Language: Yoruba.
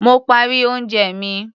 Mo parí oúnjẹ mi.